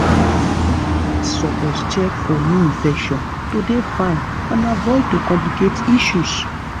dokita's suppose check for new infections to dey fine and avoid to complicate issues